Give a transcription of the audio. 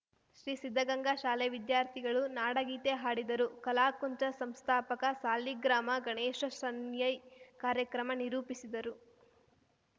ಶ್ರೀ ಸಿದ್ದಗಂಗಾ ಶಾಲೆ ವಿದ್ಯಾರ್ಥಿಗಳು ನಾಡಗೀತೆ ಹಾಡಿದರು ಕಲಾಕುಂಚ ಸಂಸ್ಥಾಪಕ ಸಾಲಿಗ್ರಾಮ ಗಣೇಶ ಶಣೈ ಕಾರ್ಯಕ್ರಮ ನಿರೂಪಿಸಿದರು